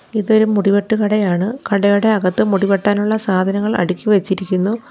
ഇതൊരു മുടിവെട്ട് കടയാണ് കടയുടെ അകത്ത് മുടി വെട്ടാനുള്ള സാധനങ്ങൾ അടുക്കി വെച്ചിരിക്കുന്നു.